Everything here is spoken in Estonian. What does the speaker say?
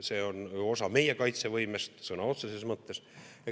See on osa meie kaitsevõimest sõna otseses mõttes.